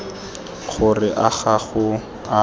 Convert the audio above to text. gore a ga go a